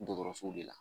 Dɔgɔtɔrɔsow de la